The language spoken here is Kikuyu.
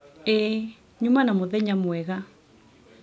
ĩĩ, nyuma na mũthenya mwega